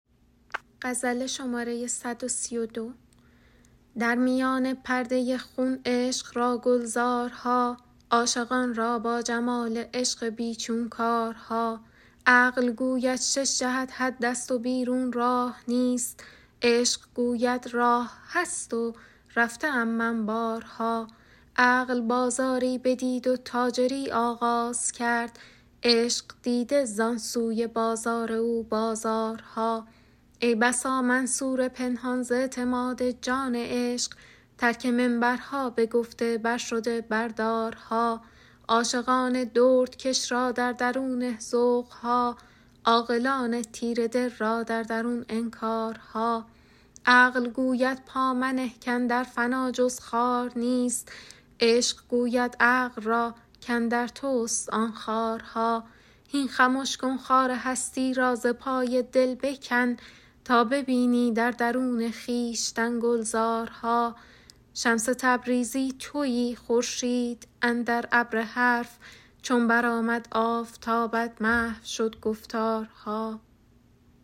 در میان پرده خون عشق را گلزارها عاشقان را با جمال عشق بی چون کارها عقل گوید شش جهت حدست و بیرون راه نیست عشق گوید راه هست و رفته ام من بارها عقل بازاری بدید و تاجری آغاز کرد عشق دیده زان سوی بازار او بازارها ای بسا منصور پنهان ز اعتماد جان عشق ترک منبرها بگفته برشده بر دارها عاشقان دردکش را در درونه ذوق ها عاقلان تیره دل را در درون انکارها عقل گوید پا منه کاندر فنا جز خار نیست عشق گوید عقل را کاندر توست آن خارها هین خمش کن خار هستی را ز پای دل بکن تا ببینی در درون خویشتن گلزارها شمس تبریزی تویی خورشید اندر ابر حرف چون برآمد آفتابت محو شد گفتارها